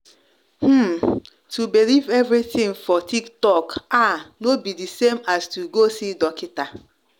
hmm- to believe every thing for tiktok ah no be the same as to go see dockita.